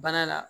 Bana la